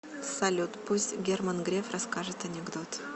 салют пусть герман греф расскажет анекдот